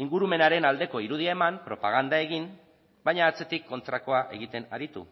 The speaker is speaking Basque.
ingurumenaren aldeko irudia eman propaganda egin baina atzetik kontrakoa egiten aritu